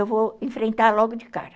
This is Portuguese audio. Eu vou enfrentar logo de cara.